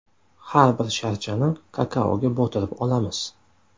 Har bir sharchani kakaoga botirib olamiz.